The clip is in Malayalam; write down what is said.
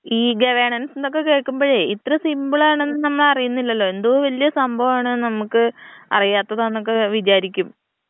ഇ ഗവേണൻസ് എന്നൊക്കെ കേക്കുമ്പഴേ ഇത്ര സിമ്പിൾ ആണെന്ന് നമ്മള് അറിയുന്നില്ലല്ലോ എന്തോ വലിയ സംഭവാണ് നമ്മക്ക് അറിയാത്തതാണ് എന്നൊക്കെ വിചാരിക്കും.